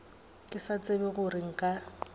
ke sa tsebe gore nka